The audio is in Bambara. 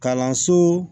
Kalanso